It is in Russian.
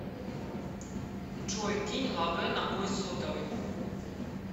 джой кинь лавэ на мой сотовый